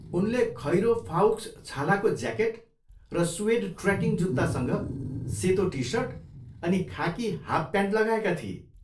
उनले खैरो फाउक्स छालाको ज्याकेट र सुएड ट्रेकिङ जुत्तासँग सेतो टी सर्ट अनि खाकी हाफ प्यान्ट लगाएका थिए।